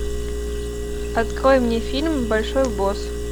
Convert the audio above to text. открой мне фильм большой босс